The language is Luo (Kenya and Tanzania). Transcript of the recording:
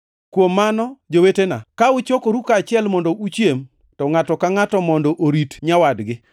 Kuom mano, jowetena, ka uchokoru kaachiel mondo uchiem, to ngʼato ka ngʼato mondo orit nyawadgi.